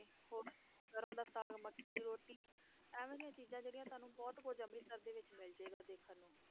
ਹੋਰ ਸਰੋਂ ਦਾ ਸਾਗ ਮੱਕੀ ਦੀ ਰੋਟੀ ਇਵੇਂ ਦੀਆਂ ਚੀਜ਼ਾਂ ਜਿਹੜੀਆਂ ਤੁਹਾਨੂੰ ਬਹੁਤ ਕੁੱਝ ਅੰਮ੍ਰਿਤਸਰ ਦੇ ਵਿੱਚ ਮਿਲ ਜਾਏਗਾ ਦੇਖਣ ਨੂੰ।